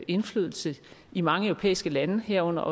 indflydelse i mange europæiske lande herunder